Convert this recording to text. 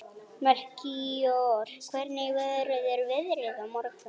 Melkíor, hvernig verður veðrið á morgun?